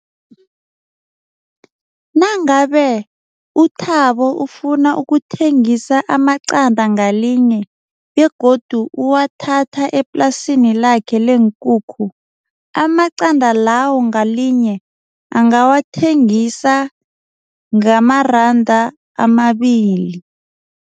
Nangabe uThabo ufuna ukuthengisa amaqanda ngalinye begodu uwathatha eplasini lakhe leenkukhu. Amaqanda lawo ngalinye angawathengisa ngamaranda amabili.